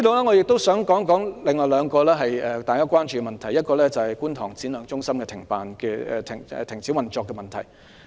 我亦想談談另外兩個大家關注的問題，其一是觀塘展亮技能發展中心停止運作的問題。